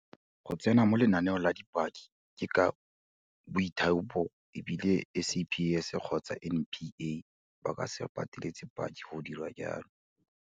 Go tsena mo lenaneong la dipaki ke ka boithaopo, e bile SAPS kgotsa NPA ba ka se pateletse paki go dira jalo.